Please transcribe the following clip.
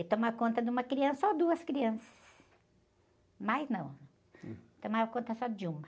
é tomar conta de uma criança ou duas crianças, mais não, tomava conta só de uma